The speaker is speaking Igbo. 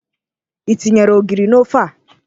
Ị tinyere ogiri n'ofe a?